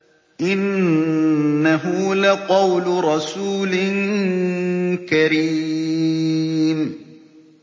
إِنَّهُ لَقَوْلُ رَسُولٍ كَرِيمٍ